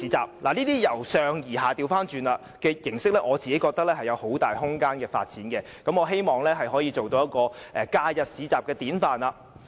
這種倒過來由上而下的形式，我覺得是有很大發展空間的，亦希望它可以成為假日市場的典範。